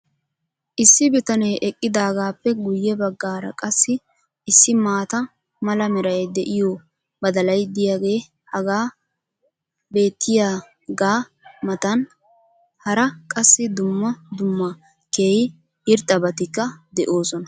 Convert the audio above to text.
Issi bitanee eqqidaagaappe guye bagaara qassi issi maata mala meray de'iyo badalay diyaagee hagan beetiyaagaa matan hara qassi dumma dumma keehi irxxabatikka de'oosona.